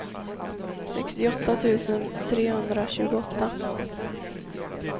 sextioåtta tusen trehundratjugoåtta